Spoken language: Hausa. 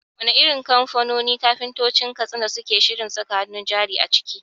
Wane irin kamfanoni kafintoci ne a Katsina suke shirin saka hannun jari a ciki?